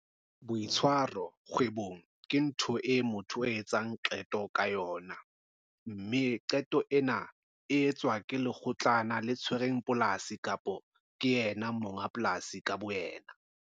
Boitshwaro kgwebong ke ntho eo motho a etsang qeto ka yona, mme qeto ena e etswa ke lekgotlana le tshwereng polasi kapa yena monga polasi ka boyena.